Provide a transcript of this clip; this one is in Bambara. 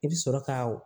I bi sɔrɔ ka